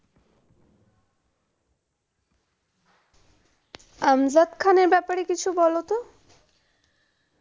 আমজাদ খান এর ব্যাপারে কিছু বলতো।